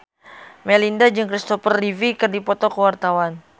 Melinda jeung Kristopher Reeve keur dipoto ku wartawan